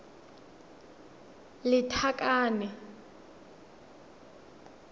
lethakane